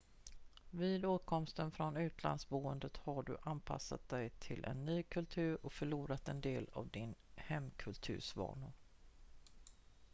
vid återkomsten från utlandsboende har du anpassat dig till en ny kultur och förlorat en del av din hemkulturs vanor